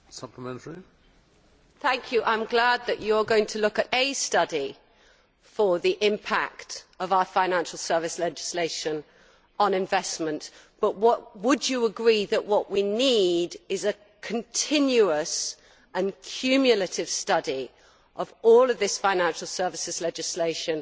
I am glad that you are going to look at a study on the impact of our financial services legislation on investment, but would you agree that what we need is a continuous and cumulative study of all of this financial services legislation